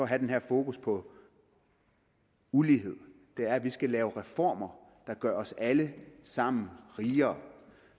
have det her fokus på ulighed er at vi skal lave reformer der gør os alle sammen rigere